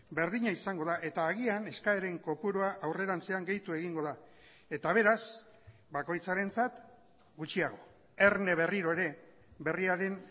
berdina izango da eta agian eskaeren kopurua aurrerantzean gehitu egingo da eta beraz bakoitzarentzat gutxiago erne berriro ere berriaren